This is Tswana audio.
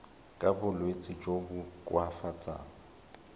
ka bolwetsi jo bo koafatsang